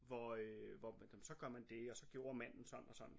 Hvor øh så gør man det og så gjorde manden sådan og sådan